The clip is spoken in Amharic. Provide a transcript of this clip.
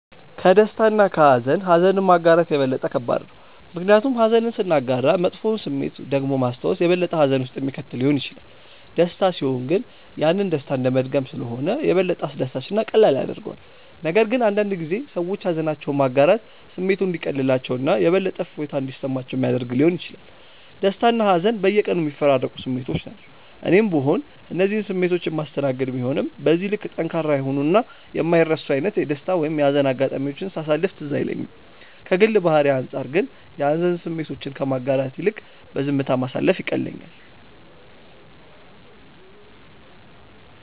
ከደስታ እና ከሃዘን ኀዘንን ማጋራት የበለጠ ከባድ ነው። ምክንያቱም ኀዘንን ስናጋራ መጥፎውን ስሜት ደግሞ ማስታወስ የበለጠ ሀዘን ውስጥ የሚከት ሊሆን ይችላል። ደስታ ሲሆን ግን ያንን ደስታ እንደመድገም ስለሆነ የበለጠ አስደሳች እና ቀላል ያደርገዋል፤ ነገር ግን አንዳንድ ጊዜ ሰዎች ሃዘናቸውን ማጋራት ስሜቱ እንዲቀልላቸው እና የበለጠ እፎይታ እንዲሰማቸው ሚያደረግ ሊሆን ይችላል። ደስታና ሀዘን በየቀኑ የሚፈራረቁ ስሜቶች ናቸው። እኔም ብሆን እነዚህን ስሜቶች የማስተናገድ ቢሆንም በዚህ ልክ ጠንካራ የሆኑ እና የማይረሱ አይነት የደስታ ወይም የሀዘን አጋጣሚዎችን ሳሳለፍ ትዝ አይለኝም። ከግል ባህሪዬ አንጻር ግን የሀዘን ስሜቶችን ከማጋራት ይልቅ ዝምታ ማሳለፍ ይቀለኛል።